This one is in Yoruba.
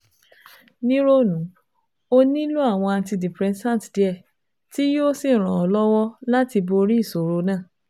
Ni ronu, o nilo awọn antidepressant diẹ ti yoo ṣe iranlọwọ lati bori iṣoro naa